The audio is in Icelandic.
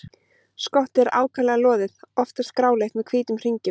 Skottið er ákaflega loðið, oftast gráleitt með hvítum hringjum.